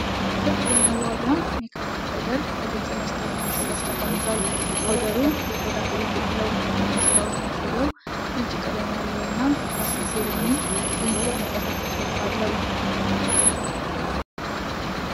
ክብ የመዋቢያ (ሜካፕ) ፓውደር በግልጽ መስታወት ማሸጊያ ውስጥ ተቀምጧል። ፓውደሩ የቆዳ ቀለም አለው። የመስታወት ማሸጊያው ነጭ ቀለም ያለው እና ፋሽን ፌር የሚል በእንግሊዝኛ የተጻፈ ጽሑፍ አለው።